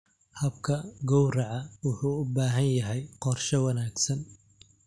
Habka gowraca wuxuu u baahan yahay qorshe wanaagsan.